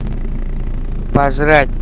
пожрать